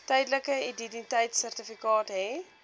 tydelike identiteitsertifikaat hê